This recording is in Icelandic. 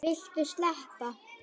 Viltu sleppa!